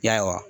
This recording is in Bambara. Ya